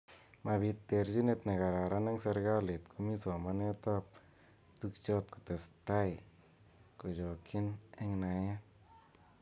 Mabit terjinet nekararan eng serekalit komi somanet ab tukjot kotesetai kochokyin eng naet.